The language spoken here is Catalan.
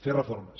fer reformes